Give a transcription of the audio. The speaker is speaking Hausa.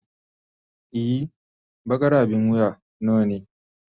Ee, baƙar abin wuya nawa ne.